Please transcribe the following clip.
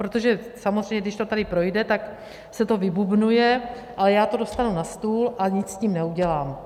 Protože samozřejmě když to tady projde, tak se to vybubnuje, ale já to dostanu na stůl a nic s tím neudělám.